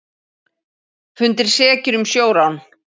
Fundnir sekir um sjórán